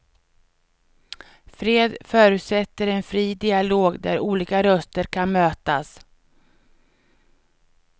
Fred förutsätter en fri dialog där olika röster kan mötas.